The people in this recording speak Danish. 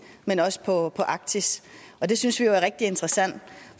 men også på arktis det synes vi jo er rigtig interessant